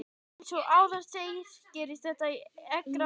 Eins og áður segir gerist þetta í eggrás konunnar.